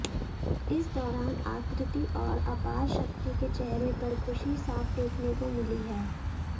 इस दौरान आकृति और अपारशक्ति के चेहरे पर खुशी साफ देखने को मिली है